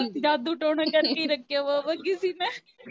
ਨਹੀਂ ਜਾਦੂ-ਟੋਣਾ ਕਰਕੇ ਰੱਖਿਆ ਹੋਊਗਾ ਕਿਸੀ ਨੇ